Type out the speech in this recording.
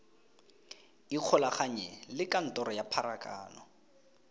ikgolaganye le kantoro ya pharakano